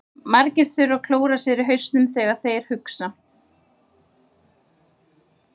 Margir þurfa að klóra sér í hausnum þegar þeir hugsa.